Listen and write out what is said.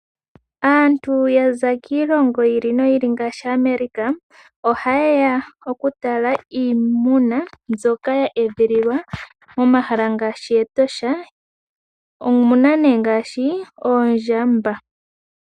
Aantu yaza kiilonga yili noyi ili ngaashi America ohaye ya okutala iimuna mbyoka ya edhililwa momahala ngaashi Etosha, omuna nee ngaashi oondjamba.